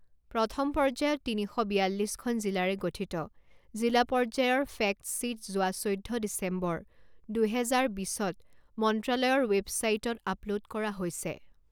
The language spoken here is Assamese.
প্ৰথম পৰ্যায়ত তিনি শ বিয়াল্লিছখন জিলাৰে গঠিত জিলা পৰ্যায়ৰ ফেক্টশ্বীট যোৱা চৈধ্য ডিচেম্বৰ, দুহেজাৰ বিছত মন্ত্ৰালয়ৰ ৱেবছাইটত আপলোড কৰা হৈছে।